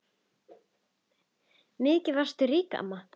Mikið varstu rík amma.